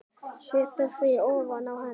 Sviptir því ofan af henni.